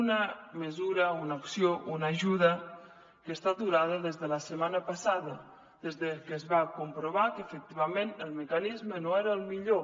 una mesura una acció una ajuda que està aturada des de la setmana passada des de que es va comprovar que efectivament el mecanisme no era el millor